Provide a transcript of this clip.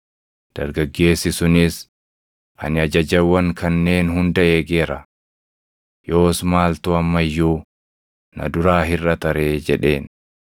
Dargaggeessi sunis, “Ani ajajawwan kanneen hunda eegeera. Yoos maaltu amma iyyuu na duraa hirʼata ree?” jedheen.